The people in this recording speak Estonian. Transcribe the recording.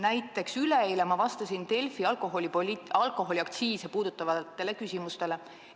Näiteks vastasin ma üleeile Delfi alkoholiaktsiise puudutavatele küsimustele.